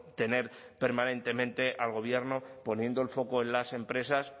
tener permanentemente al gobierno poniendo el foco en las empresas